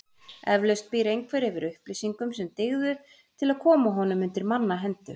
Eflaust býr einhver yfir upplýsingum sem dygðu til að koma honum undir manna hendur.